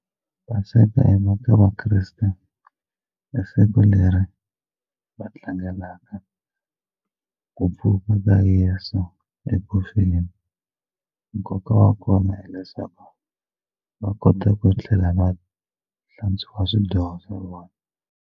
Paseka eka vakreste i siku leri va tlangelaka ku pfuka ka Yeso eku feni nkoka wa kona hileswaku va kota ku tlhela va hlantswiwa swidyoho swa vona.